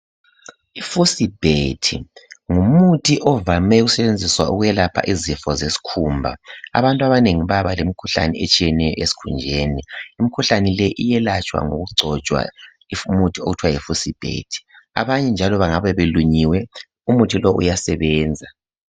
IFucibet ngumuthi ovame ukusetshenziswa ukwelapha izikhumba abantu abanengi bayaba lemikhuhlane eminengi esikhunjeni imikhuhlane leyi iyelatshwa ngokugcotshwa imithi okuthiwa yiFucibet abanye njalo bengabe belunyiwe umuthi lowu uyasebenza.